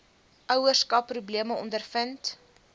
ouerskap probleme ondervind